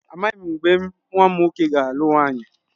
Amaghị m mgbe nwa m nwoke ga-alụ nwaanyị.